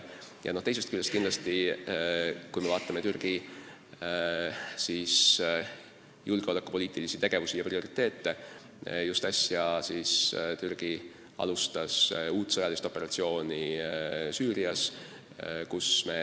Teisest küljest, kui me vaatame Türgi julgeolekupoliitilisi tegevusi ja prioriteete, siis just äsja alustas Türgi uut sõjalist operatsiooni Süürias.